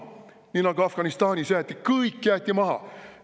Nii nagu Afganistanis jäeti kõik maha.